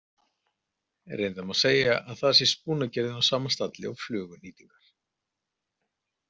Reyndar má segja að þar sé spúnagerðin á sama stalli og fluguhnýtingar.